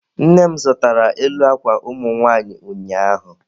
Nne m zụtara elu akwa ụmụ nwanyị ụnyaahụ.